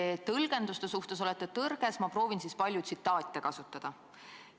Te tõlgenduste suhtes olete tõrges, ma proovin siis palju tsitaate kasutada.